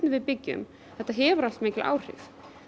við byggjum hefur mikil áhrif